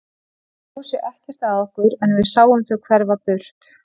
Þau gáfu sig ekkert að okkur en við sáum þau hverfa burt.